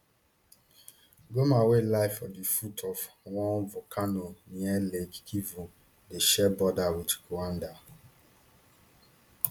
goma wey lie for di foot of one volcano near lake kivu dey share border wit rwanda